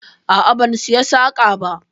A'a, ban saya saƙa ba.